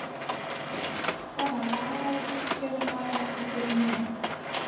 Svona lagað útskýrði maður ekki fyrir neinum.